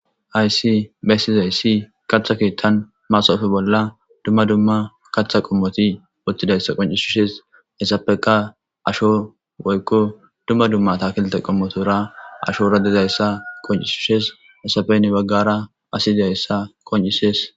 Hayis besizays katha kethan masope bolla duma duma katha qomoti qonicises isapeka woyiko duma duma atakilitey ashora dizayisa qonicises hesape hinira asi dizayisa qonicises